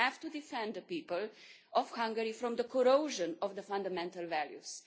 We have to defend the people of Hungary from the corrosion of the fundamental values